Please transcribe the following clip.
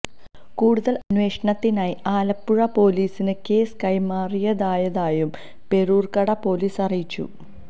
കൂടുതൽ അന്വേഷണത്തിനായി ആലപ്പുഴ പൊലീസിന് കേസ് കൈമാറിയതായതായും പേരൂർക്കട പൊലീസ് അറിയിച്ചു